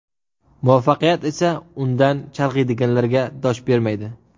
Muvaffaqiyat esa undan chalg‘iydiganlarga dosh bermaydi.